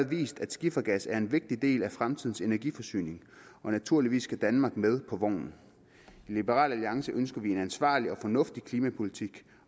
vist at skifergas er en vigtig del af fremtidens energiforsyning og naturligvis skal danmark med på vognen i liberal alliance ønsker vi en ansvarlig og fornuftig klimapolitik